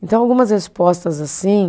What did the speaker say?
Então algumas respostas assim